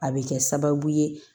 A bɛ kɛ sababu ye